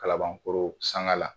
Kalabankoro sanga la